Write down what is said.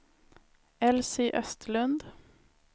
Elsy Östlund